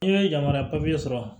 N'i ye yamaruya sɔrɔ